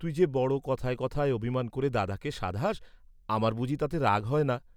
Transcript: তুই যে বড় কথায় কথায় অভিমান করে দাদাকে সাধাস, আমার বুঝি তাতে রাগ হয় না?